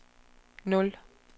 nul